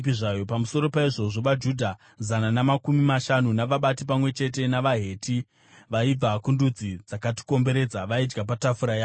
Pamusoro paizvozvo, vaJudha zana namakumi mashanu navabati, pamwe chete navaHeti vaibva kundudzi dzakatikomberedza, vaidya patafura yangu.